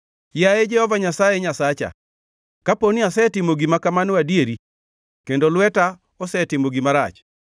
Yaye Jehova Nyasaye Nyasacha, kapo ni asetimo gima kamano adieri kendo lweta osetimo gima rach,